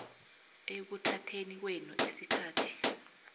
ekuthatheni kwenu isikhathi